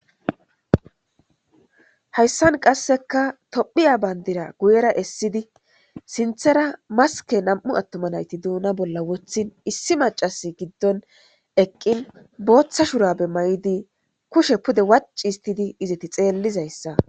Haysan Qaseka Tophiya Bandira Guyera Essidi Sinthara Maske Nam'u Atuma Nayti Duna Bola Wothidi Essi Maccasi Gidon Eqi Botha Shurabe Mayidi Kushe Pude wacci Histiidi ezeti xelizaysa